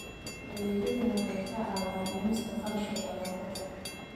Adeegyadani waxay kaa caawinayaan dhimista kharashka nadaafadda